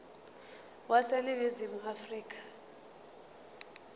wase ningizimu afrika